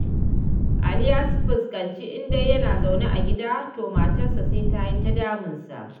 Ali ya fuskanci Indai yana zaune a gida, to matarsa sai ta yi ta damunsa.